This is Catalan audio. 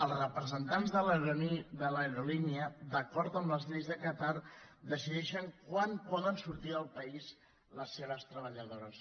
els representants de l’aerolínia d’acord amb les lleis de qatar decideixen quan poden sortir del país les seves treballadores